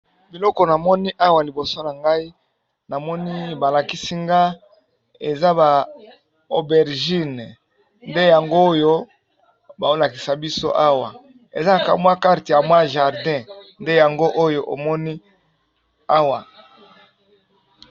Biloko namoni awa liboso na ngai namoni balakisi nga eza ba aubergine nde yango oyo bao lakisa biso awa eza kamwa carte ya mwa jardin nde yango oyo omoni awa.